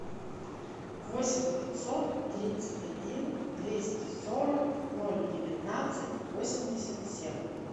восемь пятьсот тридцать один двести сорок ноль девятнадцать восемьдесят семь